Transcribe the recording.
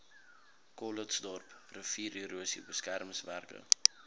calitzdorp riviererosie beskermingswerke